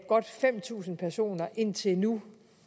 godt fem tusind personer indtil nu